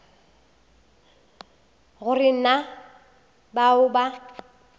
go re na bao ba